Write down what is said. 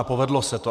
A povedlo se to.